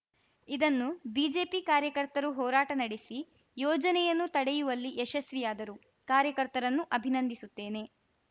ಇದನ್ನು ಬಿಜೆಪಿ ಕಾರ್ಯಕರ್ತರು ಹೋರಾಟ ನಡೆಸಿ ಯೋಜನೆಯನ್ನು ತಡೆಯುವಲ್ಲಿ ಯಶಸ್ವಿಯಾದರು ಕಾರ್ಯಕರ್ತರನ್ನು ಅಭಿನಂದಿಸುತ್ತೇನೆ